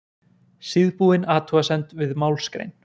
Síðbúin athugasemd við málsgrein.